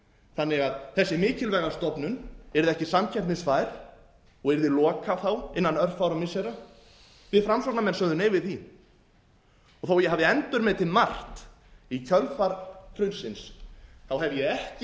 þannig að þessi mikilvæga stofnun yrði ekki samkeppnisfær og yrði lokað þá innan örfárra missira við framsóknarmenn sögðum nei við því og þó að ég hafi endurmetið margt í kjölfar hrunsins hef ég ekki